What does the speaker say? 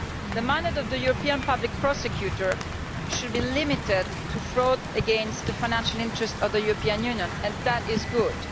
The mandate of the European Public Prosecutor should be limited to fraud against the financial interests of the European Union, and that is good.